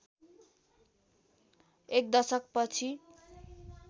एक दशक पछि